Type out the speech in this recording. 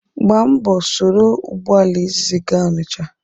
Gbaa mbọ soro ụgbọala izizi gaa Ọnịcha.